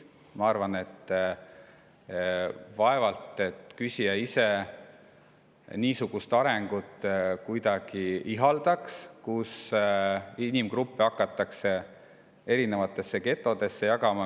Ma arvan, et vaevalt küsija ise ihaldab niisugust arengut, kus inimgruppe hakatakse erinevatesse getodesse jagama.